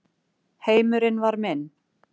Heimurinn var minn.